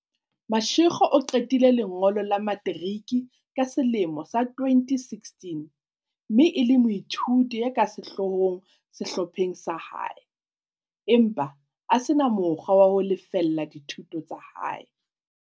Mashego o qetile lengolo la materiki ka selemo sa 2016 mme e le moithuti ya ka sehloohong sehlopheng sa hae, empa a se na mo kgwa wa ho lefella dithuto tsa hae.